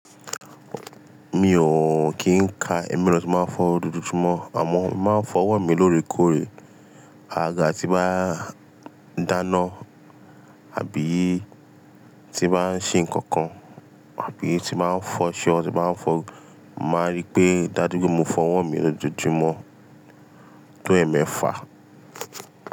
Mi ò kí ń ka ẹ́mí lọ ti máa fọ́ dúdú túmọ̀ àmọ́ máa ń fọ ọwọ́ mi lóore kóòore. Aga tí bá dáná àbí tí bá ń ṣe nǹkan kan, àbí tí máa ń fọ ṣeun tí máa ń fọ, màá rí pé dájú pé mo fọ ọwọ́ mi lójú túmọ̀ tó ẹ̀ẹ̀mẹ́fà.